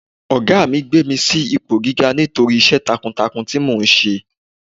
Ọ̀gá mi gbé mi sí ipò gíga nítorí iṣẹ́ takuntakun tí mò ń ṣe.